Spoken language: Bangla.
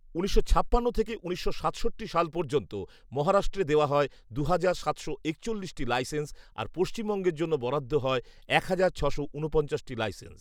উনিশশো ছাপান্ন থেকে উনিশশো সাতষট্টি সাল পর্যন্ত মহারাষ্ট্রে দেওয়া হয় দুহাজার সাতশো একচল্লিশটি লাইসেন্স, আর পশ্চিমবঙ্গের জন্য বরাদ্দ হয় এক হাজার ছশো ঊনপঞ্চাশটি লাইসেন্স